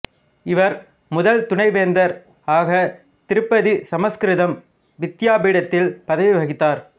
இவர் முதல் துணை வேந்தர் ஆக திருப்பதிசமஸ்கிருதம் வித்யாபீடத்தில் பதவி வகித்தார்